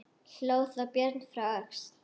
Hló þá Björn frá Öxl.